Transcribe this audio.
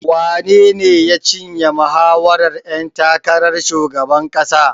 Wanene ya cinye mahawarar ƴan takarar shugaban ƙasar?